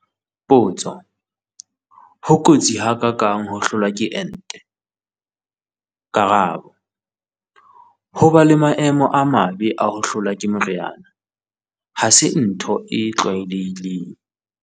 Potso- Ho kotsi ha ka kang ho hlolwa ke ente? Karabo- Ho ba le maemo a mabe a ho hlolwa ke moriana ha se ntho e tlwaelehileng.